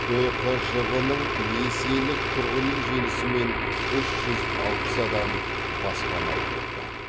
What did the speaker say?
түқжб ның несиелік тұрғын үй желісімен үш жүз алпыс адам баспаналы болды